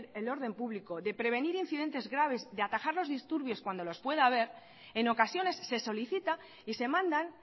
el orden público de prevenir incidentes graves de atajar los disturbios cuando los pueda haber en ocasiones se solicita y se mandan